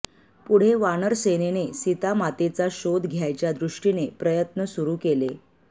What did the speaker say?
पुढे वानरसेनेने सीतामातेचा शोध घ्यायच्या दृष्टीने प्रयत्न सुरू केले